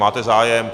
Máte zájem.